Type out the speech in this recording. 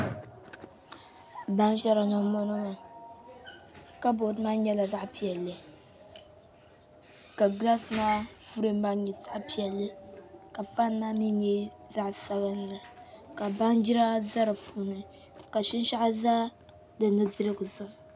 Baajira ni n bɔŋɔ maa kabood maa nyɛla zaɣ piɛlli ka gilaas maa filim maa nyɛ zaɣ piɛlli ka faan maa mii nyɛ zaɣ sabinli ka baanjira ʒɛ di puuni ka shinshaɣu ʒɛ di nudirigu zuɣu